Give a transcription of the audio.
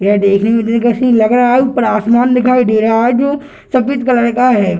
यह देखने में दिलकश ही लग रहा है ऊपर आसमान दिखाई दे रहा है जो सफेद कलर का है।